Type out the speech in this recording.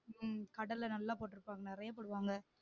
உம் கடலை நல்லா போற்றுக்காங்க நிறைய போடுவாங்க